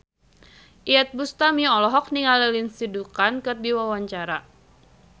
Iyeth Bustami olohok ningali Lindsay Ducan keur diwawancara